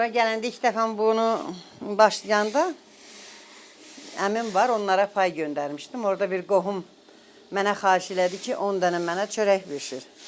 Bura gələndə ilk dəfə mən bunu başlayanda əmim var, onlara pay göndərmişdim, orda bir qohum mənə xahiş elədi ki, 10 dənə mənə çörək bişir.